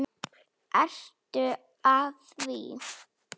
Ertu að því?